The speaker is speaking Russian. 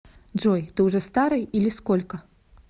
джой ты уже старый или сколько